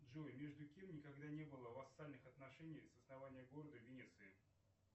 джой между кем никогда не было вассальных отношений с основания города венеции